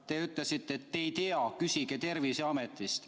Te ütlesite, et te ei tea, et küsigu ma Terviseametist.